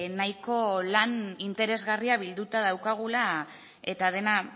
nahiko lan interesgarria bilduta daukagula eta dena